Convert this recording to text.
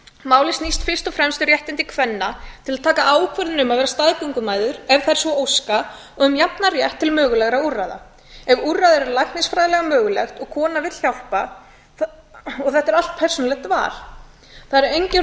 málið snýst fyrst og fremst um réttindi kvenna til að taka ákvörðun um að vera staðgöngumæður ef þær svo óska um jafnan rétt til mögulegra úrræða ef úrræði eru læknisfræðilega möguleg og kona vill hjálpa og þetta er allt persónulegt val það eru engin rök fyrir